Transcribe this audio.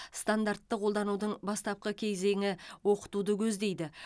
стандартты қолданудың бастапқы кезеңі оқытуды көздейді